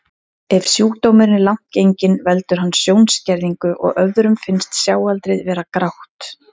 Ef sjúkdómurinn er langt genginn veldur hann sjónskerðingu og öðrum finnst sjáaldrið vera grátt.